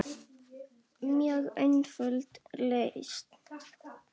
Mjög einföld lausn.